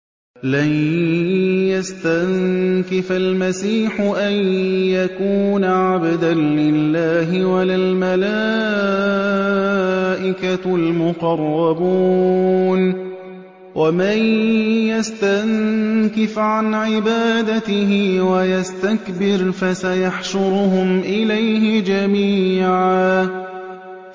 لَّن يَسْتَنكِفَ الْمَسِيحُ أَن يَكُونَ عَبْدًا لِّلَّهِ وَلَا الْمَلَائِكَةُ الْمُقَرَّبُونَ ۚ وَمَن يَسْتَنكِفْ عَنْ عِبَادَتِهِ وَيَسْتَكْبِرْ فَسَيَحْشُرُهُمْ إِلَيْهِ جَمِيعًا